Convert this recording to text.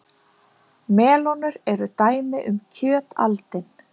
Melónur eru dæmi um kjötaldin.